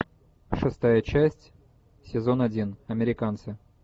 шестая часть сезон один американцы